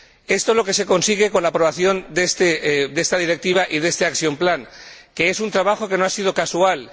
Esto es lo que se consigue con la aprobación de esta Directiva y de este plan de acción, que es un trabajo que no ha sido casual.